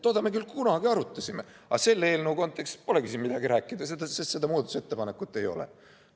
Toda me küll kunagi arutasime, aga selle eelnõu kontekstis polegi siin midagi rääkida, sest seda muudatusettepanekut ei ole.